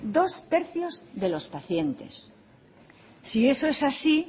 dos tercios de los pacientes si eso es así